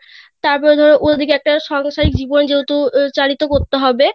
তারপরে ধরো অই পাশে একটা সাংসারিক জীবন চালিতো করতে হবে